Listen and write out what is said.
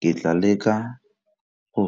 Ke tla leka go